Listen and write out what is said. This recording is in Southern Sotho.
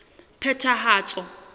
phethahatso